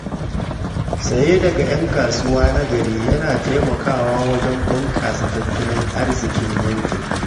Saye daga ‘yan kasuwa na gari yana taimakawa wajen bunƙasa tattalin arziƙin yankin.